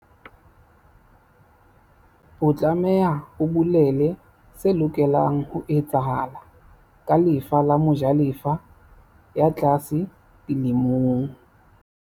O tlameha o bolele se lokelang ho etsahala ka lefa la mojalefa ya tlase di lemong.